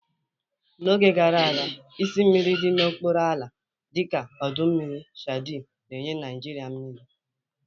N'oge gara aga, isi mmiri dị n'okpuru ala, dịka ọdọ mmiri Chadi na-enye Naijiria mmiri.